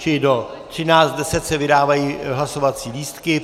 Čili do 13.10 se vydávají hlasovací lístky.